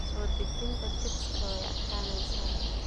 Soo dejinta chicks way adkaanaysaa.